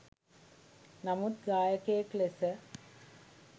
නමුත් ගායකයෙක් ලෙස